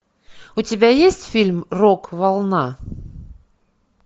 у тебя есть фильм рок волна